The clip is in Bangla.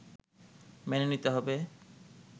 মেনে নিতে হবে